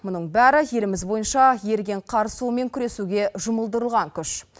мұның бәрі еліміз бойынша еріген қар суымен күресуге жұмылдырылған күш